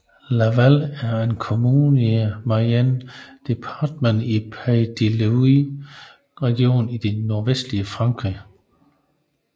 Laval er en kommune i Mayenne departementet i Pays de la Loire regionen i det nordvestlige Frankrig